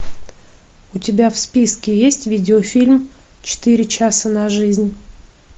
у тебя в списке есть видеофильм четыре часа на жизнь